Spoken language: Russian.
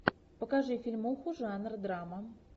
покажи фильмуху жанр драма